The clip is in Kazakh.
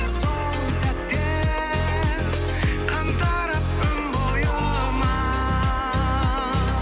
сол сәтте қан тарап өн бойыма